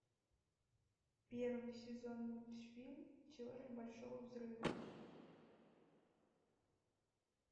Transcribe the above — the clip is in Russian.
первый сезон мультфильм теория большого взрыва